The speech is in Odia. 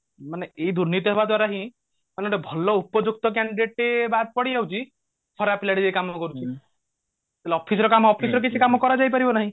ମାନେ ଏଇ ଦୁର୍ନୀତି ହେବା ଦ୍ଵାରା ହିଁ ଆମେ ଗୋଟେ ଭଲ ଉପଯୁକ୍ତ candidate ଟେ ବଡ ପଡି ଯାଉଛି ଖରାପ ପିଲାଟେ ଯାଇ କାମ କରୁଛି office ର କାମ office ରେ କିଛି କାମ କରାଯାଇ ପାରିବ ନାଇଁ